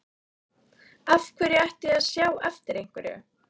Af hverju ætti ég að sjá eftir einhverju?